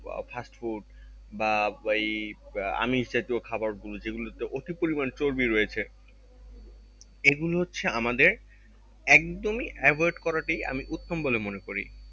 বা fast food বা এই আহ আমিস জাতীয় খাবার গুলো যেগুলোতে অতি পরিমান চর্বি রয়েছে এগুলো হচ্ছে আমাদের একদম ই avoid করাটাই আমি উত্তম বলে মনে করি